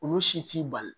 Olu si t'i bali